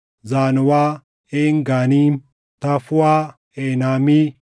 Zaanoʼaa, Een Ganiim, Tafuuʼaa, Eenaami,